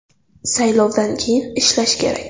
Saylovdan keyin ishlash kerak.